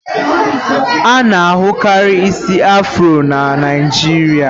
A-na ahụ karị isi afrọ na Naịjirịa.